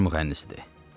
Bar mühəndisdir.